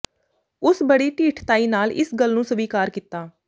ਉਸ ਬੜੀ ਢੀਠਤਾਈ ਨਾਲ ਇਸ ਗੱਲ ਨੂੰ ਸਵੀਕਾਰ ਕੀਤਾ